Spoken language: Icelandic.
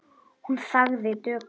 Hún þagði döpur.